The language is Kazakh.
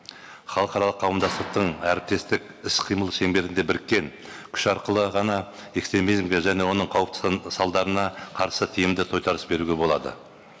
халықаралық қауымдастықтың әріптестік іс қимыл шеңберінде біріккен күш арқылы ғана экстремизмге және оның қауіпті салдарына қарсы тиімді тойтарыс беруге болады